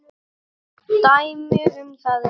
Dæmi um það eru